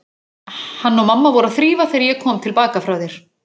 Hann og mamma voru að þrífa þegar ég kom til baka frá þér.